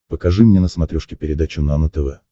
покажи мне на смотрешке передачу нано тв